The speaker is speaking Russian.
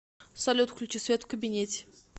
салют включи свет в кабинете